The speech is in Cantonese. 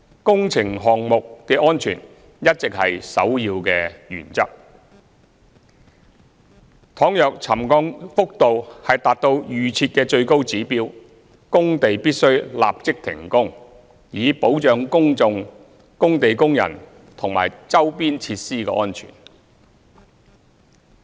工程項目的安全一直是首要原則，倘若沉降幅度達到預設的最高指標，工地必須立即停工，以保障公眾、工地工人及周邊設施的安全。